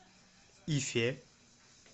ифе